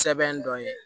Sɛbɛn dɔ ye